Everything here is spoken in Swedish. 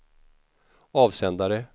avsändare